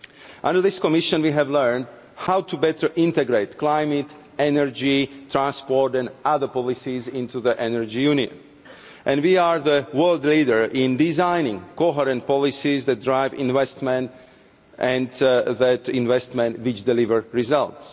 Under this Commission we have learned how to better integrate climate, energy, transport and other policies into the energy union and we are the world leader in designing coherent policies that drive investment, and investment that delivers results.